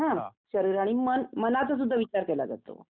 शरीर आणि मन मनाचा सुध्दा विचार केला जातो हं